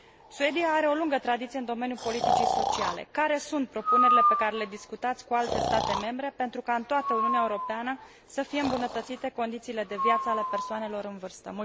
Suedia are o lungă tradiție în domeniul politicii sociale. Care sunt propunerile pe care le discutați cu alte state membre pentru ca în toată Uniunea Europeană să fie îmbunătățite condițiile de viață ale persoanelor în vârstă?